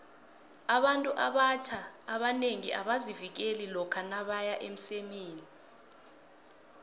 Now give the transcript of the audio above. abantu abatjna abanengi abazivikeli lokha nabeya emsemeni